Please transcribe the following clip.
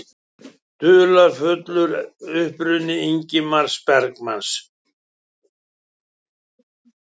Dularfullur uppruni Ingmars Bergman